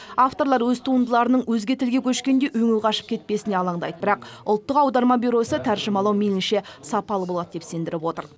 авторлар өз туындыларының өзге тілге көшкенде өңі қашып кетпесіне алаңдайды бірақ ұлттық аударма бюросы тәржімалау мейлінше сапалы болады деп сендіріп отыр